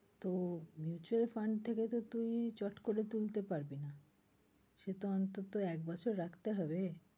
তো mutual fund থেকে তো তুই চট করে তুলতে পারবি না সে তো অন্তত একবছর রাখতে হবে।